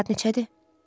Saat neçədir?